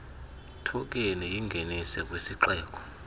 thokheni yingenise kwisixeko